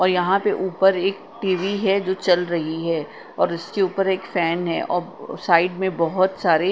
और यहां पे ऊपर एक टी_वी है जो चल रही है और इसके ऊपर एक फैन है और साइड में बहोत सारे --